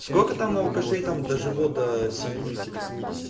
сколько там у алкашей там дожило до семидесяти до восьмидесяти